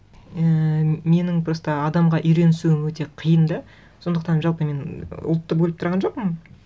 ііі менің просто адамға үйренісуім өте қиын да сондықтан жалпы мен ұлтты бөліп тұрған жоқпын